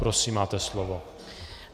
Prosím, máte slovo.